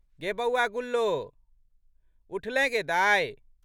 गे बौआ गुल्लो! उठलेँ गे दाइ।